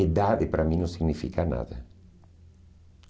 Idade para mim não significa nada.